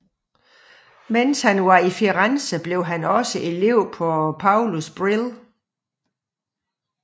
Mens han var i Firenze blev han også elev af Paulus Bril